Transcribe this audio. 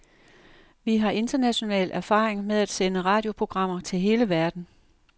Vi har international erfaring med at sende radioprogrammer til hele verden.